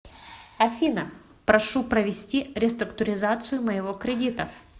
афина прошу провести реструктуризацию моего кредита